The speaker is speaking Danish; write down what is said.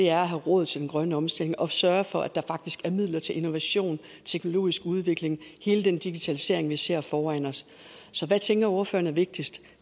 er at have råd til den grønne omstilling og sørge for at der faktisk er midler til innovation teknologisk udvikling og hele den digitalisering vi ser foran os så hvad tænker ordføreren er vigtigst